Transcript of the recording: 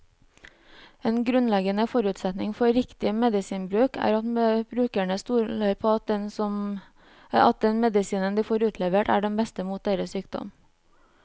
En grunnleggende forutsetning for riktig medisinbruk er at brukerne stoler på at den medisinen de får utlevert, er den beste mot deres sykdom.